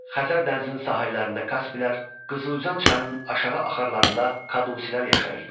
Xəzər dənizinin sahillərində Kasplər, Qızıluzan çayının aşağı axarlarında Kadusilər yaşayırdılar.